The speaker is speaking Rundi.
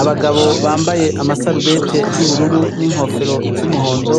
Abagabo bambaye amasarubete y'ubururu n'inkofero z'umuhondo,